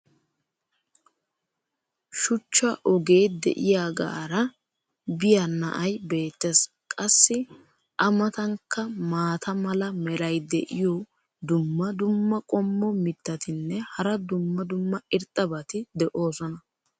shuchcha ogee diyaagaara biya na"ay beetees. qassi a matankka maata mala meray diyo dumma dumma qommo mitattinne hara dumma dumma irxxabati de'oosona.